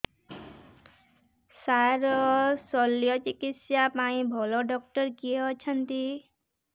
ସାର ଶଲ୍ୟଚିକିତ୍ସା ପାଇଁ ଭଲ ଡକ୍ଟର କିଏ ଅଛନ୍ତି